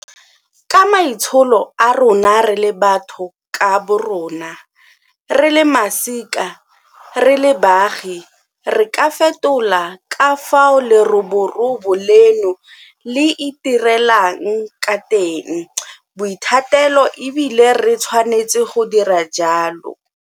Ka maitsholo a rona re le batho ka borona, re le masika, re le baagi re ka fetola ka fao leroborobo leno le itirelang ka teng boithatelo e bile re tshwanetse go dira jalo.